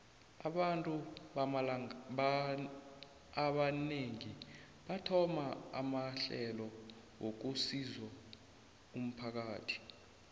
abantu abanengi bathoma amahlelo wokusizo umphakathi